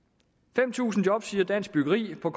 fem tusind job siger dansk byggeri og